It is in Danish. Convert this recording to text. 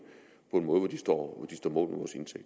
på en måde hvor de står mål